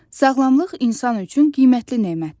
Sağlamlıq insan üçün qiymətli nemətdir.